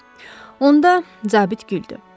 Onda, zabit güldü.